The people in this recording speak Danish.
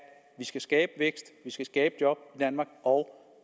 vi skal skabe vækst at vi skal skabe job i danmark og